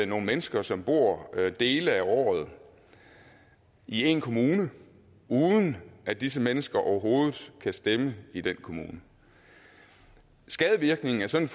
nogle mennesker som bor dele af året i én kommune uden at disse mennesker overhovedet kan stemme i den kommune skadevirkningen af sådan